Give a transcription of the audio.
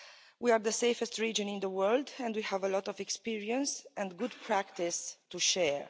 We are the safest region in the world and we have a lot of experience and good practice to share.